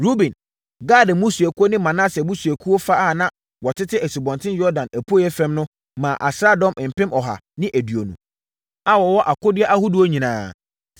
Ruben, Gad mmusuakuo ne Manase abusuakuo fa a na wɔtete Asubɔnten Yordan apueeɛ fam no maa asraadɔm mpem ɔha ne aduonu (120,000) a wɔwɔ akodeɛ ahodoɔ nyinaa.